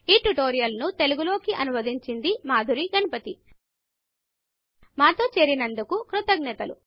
ఈ ట్యుటోరియల్ను తెలుగు లోకి అనువదించింది మాధురి గణపతి మాతో చేరినందుకు కృతజ్ఞతలు